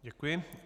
Děkuji.